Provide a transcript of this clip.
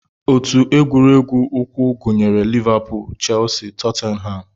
Otu egwuregwu ụkwụ gụnyere Liverpool, Chelsea, Tottenham